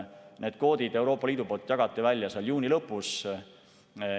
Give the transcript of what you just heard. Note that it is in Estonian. Need kvoodid jagati Euroopa Liidu poolt välja juuni lõpus.